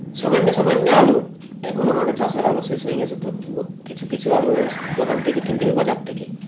সামন্য সামন্য আলু এখন আমাদের চাষের আলু শেষ হয়ে গেছে তো ব কিছু কিছু আলু স দোকান থেকে কিনতে হয় বাজার থেকে